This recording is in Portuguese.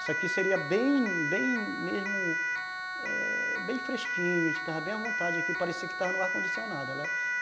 Isso aqui seria bem bem mesmo é... fresquinho, a gente estaria bem à vontade aqui, parecia que estava no ar condicionado.